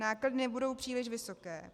Náklady nebudou příliš vysoké.